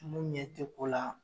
Mun ɲɛ tɛ ko la.